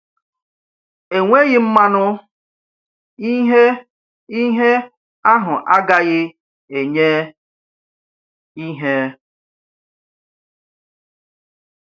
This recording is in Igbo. Enweghị mmanụ, ìhè ìhè ahụ agaghị enyé ìhè.